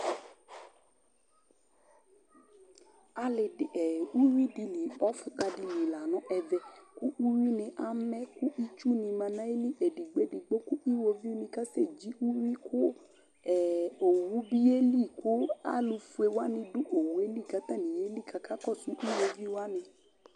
Ɔfʊta dɩ lɩ la nʊ ɛvɛ kʊ ʊyʊinɩ bɩa mɛ kʊ ɩtsʊnɩ ma nʊ ayɩlɩ edɩgbo edɩgbo kʊ ɩwovɩnɩ ka sɛ dzɩ ʊyʊɩ kʊ owʊ bɩ ye lɩ kʊ alʊfoe wanɩ dʊ owʊelɩ kʊ atanɩ yelɩ kʊ akakɔsʊ ɩwovi wanɩ